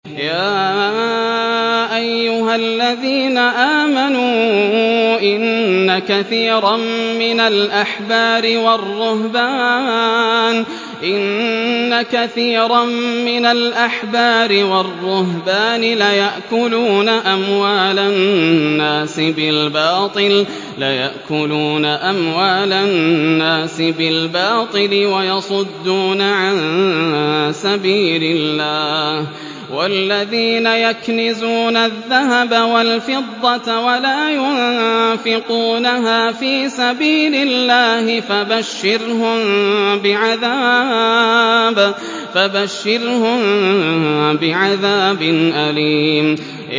۞ يَا أَيُّهَا الَّذِينَ آمَنُوا إِنَّ كَثِيرًا مِّنَ الْأَحْبَارِ وَالرُّهْبَانِ لَيَأْكُلُونَ أَمْوَالَ النَّاسِ بِالْبَاطِلِ وَيَصُدُّونَ عَن سَبِيلِ اللَّهِ ۗ وَالَّذِينَ يَكْنِزُونَ الذَّهَبَ وَالْفِضَّةَ وَلَا يُنفِقُونَهَا فِي سَبِيلِ اللَّهِ فَبَشِّرْهُم بِعَذَابٍ أَلِيمٍ